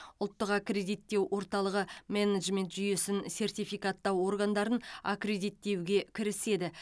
ұлттық аккредиттеу орталығы менеджмент жүйесін сертификаттау органдарын аккредиттеуге кіріседі